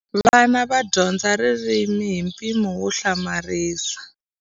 Vana va dyondza ririmi hi mpimo wo hlamarisa.